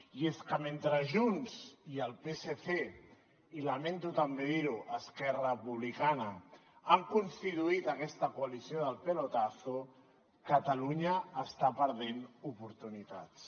i és que mentre junts i el psc i lamento també dir ho esquerra republicana han constituït aquesta coalició del pelotazo catalunya està perdent oportunitats